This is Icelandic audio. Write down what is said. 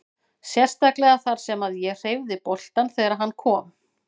Sérstaklega þar sem að ég hreyfði boltann þegar að hann kom.